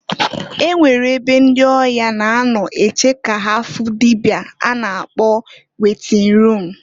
E nwere ebe ndị ọya na-anọ eche ka ha fụ dịbịa a na-akọ wetin rum.